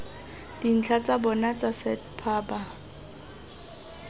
dintlha tsa bona tsa setphaba